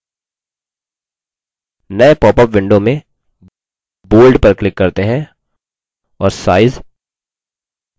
नये popup window में bold पर click करते हैं और size 8 पर click करते हैं